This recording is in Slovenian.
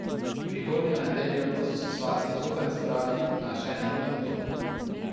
Prihodnjo nedeljo pa so se svatje zopet zbrali na ženinovem domu.